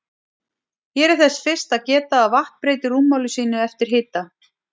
Hér er þess fyrst að geta að vatn breytir rúmmáli sínu eftir hita.